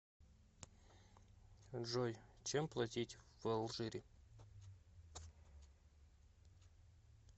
джой чем платить в алжире